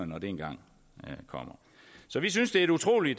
når det engang kommer så vi synes det er et utrolig